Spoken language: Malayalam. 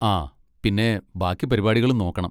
ആ പിന്നെ ബാക്കി പരിപാടികളും നോക്കണം.